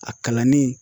A kalanni